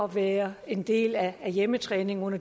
være en del af hjemmetræningen ud